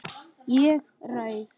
Ég ræð.